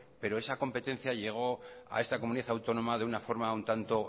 pero esa competencia llegó a esta comunidad autónoma de una forma un tanto